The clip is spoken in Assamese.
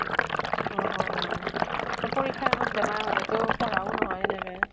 অ অ অহ । তʼ পৰীক্ষাৰ আগত বেমাৰ হʼলে তʼ পঢ়াও নহয় এনেকে।